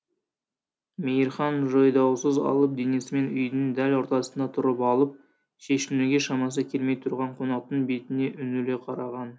мейірхан жойдаусыз алып денесімен үйдің дәл ортасында тұрып алып шешінуге шамасы келмей тұрған қонақтың бетіне үңіле қараған